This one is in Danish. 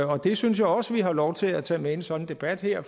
og det synes jeg også vi har lov til at tage med i en sådan debat her